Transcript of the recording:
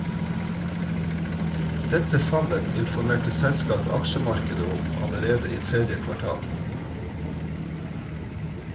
Dette fallet informerte selskapet aksjemarkedet om allerede i tredje kvartal.